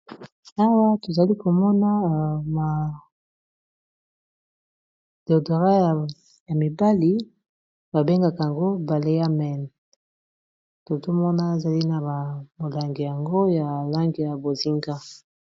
Awa tozali komona madeodorat ya mibali ba bengaka yango bale yamen, totomona ezali na ba molangi yango ya lange ya bozinga